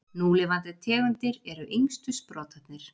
Núlifandi tegundir eru yngstu sprotarnir.